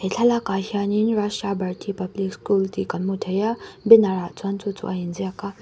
he thlalakah hianin rashtra bharti public school tih kan hmu thei a banner ah chuan chu chu a inziak a.